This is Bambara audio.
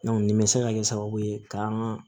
nin bɛ se ka kɛ sababu ye ka an ka